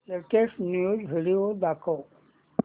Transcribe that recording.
latest news video दाखव